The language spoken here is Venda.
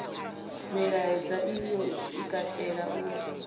milaedza iyo i katela u